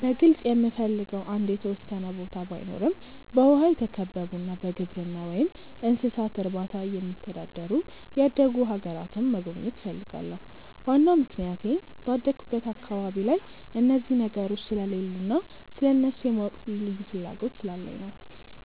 በግልጽ የምፈልገው አንድ የተወሰነ ቦታ ባይኖረም በውሃ የተከበቡና በግብርና ወይም እንስሳት እርባታ የሚተዳደሩ ያደጉ አገራትን መጎብኘት እፈልጋለሁ። ዋናው ምክንያቴ ባደኩበት አካባቢ ላይ እነዚህ ነገሮች ስለሌሉ እና ስለእነሱ የማወቅ ልዩ ፍላጎት ስላለኝ ነው።